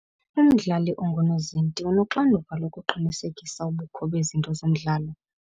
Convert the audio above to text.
Umdlali ongunozinti unoxanduva lokuqinisekisa ubukho bezinto zomdlalo.